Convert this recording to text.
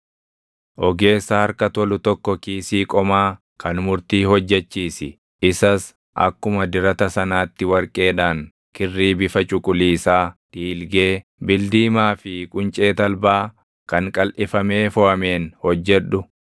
“Ogeessa harka tolu tokko kiisii qomaa kan murtii hojjechiisi; isas akkuma dirata sanaatti warqeedhaan, kirrii bifa cuquliisaa, dhiilgee, bildiimaa fi quncee talbaa kan qalʼifamee foʼameen hojjedhu.